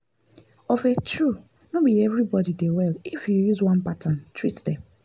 of a true no be everybody dey well if you use one pattern treat them.